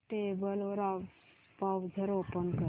tablet वर browser open कर